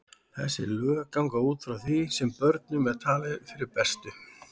Þessi lög ganga út frá því sem börnum er talið fyrir bestu.